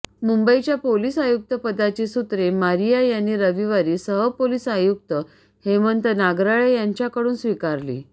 मुंबईच्या पोलिस आयुक्तपदाची सूत्रे मारिया यांनी रविवारी सहपोलिस आयुक्त हेमंत नागराळे यांच्याकडून स्वीकारली